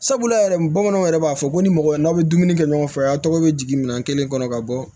Sabula yɛrɛ bamananw yɛrɛ b'a fɔ ko ni mɔgɔ ye n'aw bɛ dumuni kɛ ɲɔgɔn fɛ aw tɔgɔ bɛ jigin minɛn kelen kɔnɔ ka bɔ